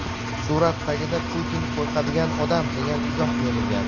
Surat tagida "Putin qo‘rqadigan odam" degan izoh yozilgan.